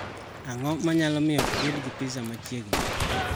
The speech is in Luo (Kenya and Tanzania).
Ang�o ma nyalo miyo ibed gi pizza machiegni?